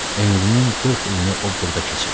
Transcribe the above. Ömrünün 40 ilini o burda keçirib.